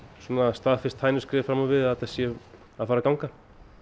staðfest hænuskref fram á við að þetta sé að fara að ganga